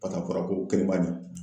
a fɔra ko kelen b'a ɲɛ